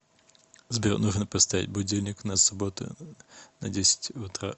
сбер нужно поставить будильник на субботу на десятьь утра